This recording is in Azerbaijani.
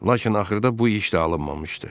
Lakin axırda bu iş də alınmamışdı.